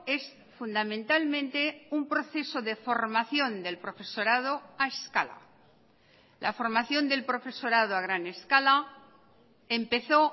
es fundamentalmente un proceso de formación del profesorado a escala la formación del profesorado a gran escala empezó